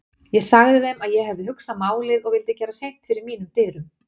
Ég sagði þeim að ég hefði hugsað málið og vildi gera hreint fyrir mínum dyrum.